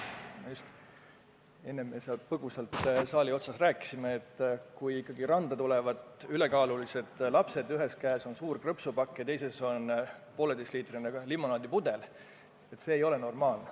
Me enne põgusalt saali nurgas rääkisime, et kui ikka randa tulevad ülekaalulised lapsed, ühes käes on suur krõpsupakk ja teises on poolteiseliitrine limonaadipudel, siis see ei ole normaalne.